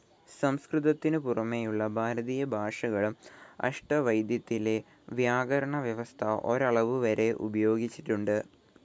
സംസ്‌കൃതത്തിനു പുറമേയുള്ള ഭാരതീയ ഭാഷകളും അഷ്ടവൈദ്യത്തിലെ വ്യാകരണവ്യവസ്ഥ ഒരളവുവരെ ഉപയോഗിച്ചിട്ടുണ്ട്.